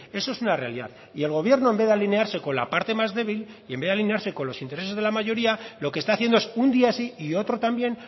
eso es una realidad y el gobierno en vez de alinearse con la parte más débil y en vez de alinearse con los intereses de la mayoría lo que está haciendo es un día sí y otro también